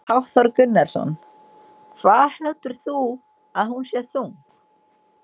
Hafþór Gunnarsson: Hvað heldur þú að hún sé þung?